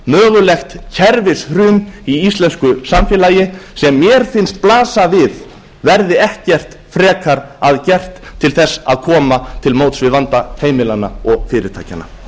mögulegt kerfishrun í íslensku samfélagi sem mér finnst blasa við verði ekkert frekar að gert til þess að koma til móts við vanda heimilanna og fyrirtækjanna